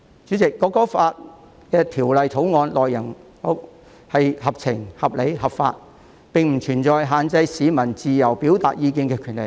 主席，《條例草案》的內容合情、合理、合法，並不存在限制市民自由表達意見的權利。